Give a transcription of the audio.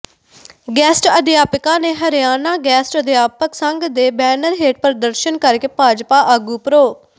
guest ਅਧਿਆਪਕਾਂ ਨੇ Haryana guest ਅਧਿਆਪਕ ਸੰਘ ਦੇ ਬੈਨਰ ਹੇਠ ਪ੍ਰਦਰਸ਼ਨ ਕਰਕੇ ਭਾਜਪਾ ਆਗੂ ਪ੍ਰੋ